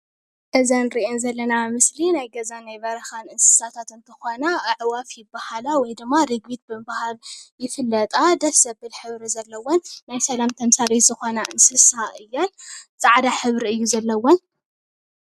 እዘን ንሪአን ዘለና ምስሊ ናይ ገዛን ናይ በረኻን እንስሳታት ኣዕዋፍ ይበሃላ ወይ ድማ ርግቢት ብምብሃል ይፍለጣ፡፡ ደስ ዘብል ሕብሪ ዘለወን ናይ ሰላም ተምሳሌት ዝኾና እንስሳ እየን፡፡ ፃዕዳ ሕብሪ እዩ ዘለወን፡፡